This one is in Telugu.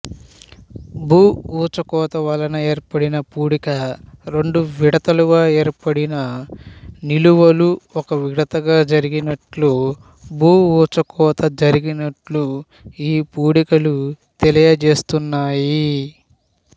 భూఊచకోతవలన ఏర్పడిన పూడిక రెండు విడతలుగా ఏర్పడిన నిలువలు ఒక విడతగా జరిగినట్లు భూఊచకోత జరిగినట్లు ఈ పూడికలు తెలియజేస్తున్నాయి